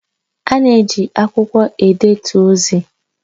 A na-eji akwụkwọ edetu ozi